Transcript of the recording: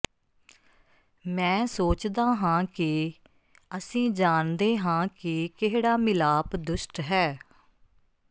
ਮੈਂ ਸੋਚਦਾ ਹਾਂ ਕਿ ਅਸੀਂ ਜਾਣਦੇ ਹਾਂ ਕਿ ਕਿਹੜਾ ਮਿਲਾਪ ਦੁਸ਼ਟ ਹੈ